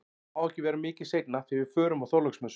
Það má ekki vera mikið seinna því við förum á Þorláksmessu